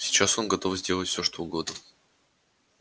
сейчас он готов сделать всё что угодно